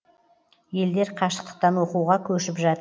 елдер қашықтықтан оқуға көшіп жат